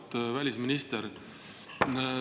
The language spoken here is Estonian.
Auväärt välisminister!